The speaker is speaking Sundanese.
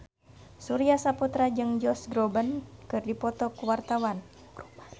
Surya Saputra jeung Josh Groban keur dipoto ku wartawan